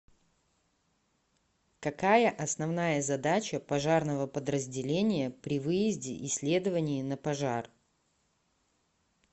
какая основная задача пожарного подразделения при выезде и следовании на пожар